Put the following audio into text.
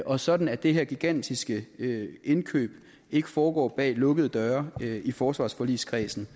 og sådan at det her gigantiske indkøb ikke foregår bag lukkede døre i forsvarsforligskredsen